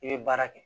I bɛ baara kɛ